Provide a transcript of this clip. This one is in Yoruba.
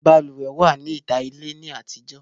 Balùwẹ̀ wà ní ìta ilé ní àtijọ́